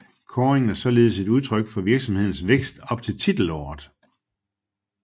Kåringen er således et udtryk for virksomhedens vækst op til titelåret